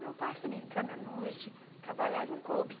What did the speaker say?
Meu pai, se não me engano, na noite, trabalhava em clube.